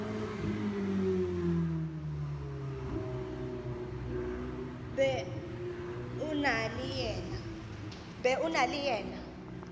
be o na le yena